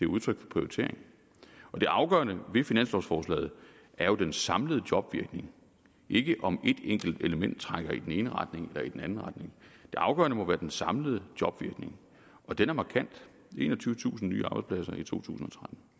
udtryk for prioritering og det afgørende ved finanslovforslaget er den samlede jobvirkning ikke om et enkelt element trækker i den ene retning eller i den anden retning det afgørende må være den samlede jobvirkning og den er markant enogtyvetusind nye arbejdspladser i totusinde